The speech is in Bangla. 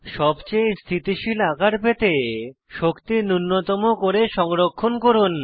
সবচেয়ে স্থিতিশীল আকার পেতে শক্তি নুন্যতম করে সংরক্ষণ করুন